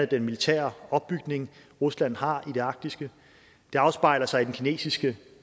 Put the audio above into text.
den militære opbygning rusland har i det arktiske det afspejler sig i den kinesiske